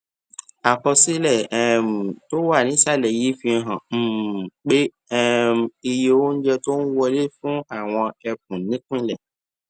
àkọsílẹ um tó wà nísàlẹ yìí fi hàn um pé um iye oúnjẹ tó ń wọlé fún àwọn ẹkùnìpínlẹ